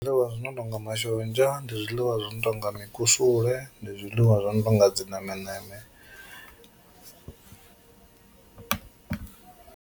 Zwiḽiwa zwi no tonga mashonzha, ndi zwiḽiwa zwi no tonga mikusule, ndi zwiḽiwa zwi no tonga dzi nemeneme.